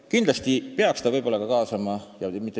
Pakutud lahendus teeb aga asjad veelgi keerulisemaks ja segasemaks.